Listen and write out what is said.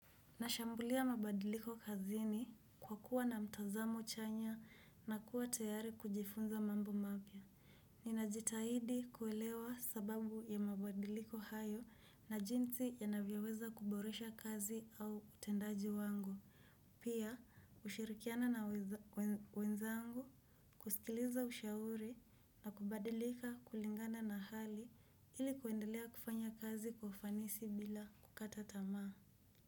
Nashambulia mabadiliko kazini kwa kuwa na mtazamo chanya na kuwa tayari kujifunza mambo mapya. Ninajitahidi kuelewa sababu ya mabadiliko hayo na jinsi yanavyoweza kuboresha kazi au utendaji wangu. Pia ushirikiana na wenzangu kusikiliza ushauri na kubadilika kulingana na hali ili kuendelea kufanya kazi kwa ufanisi bila kukata tamaa.